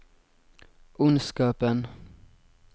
ondskapen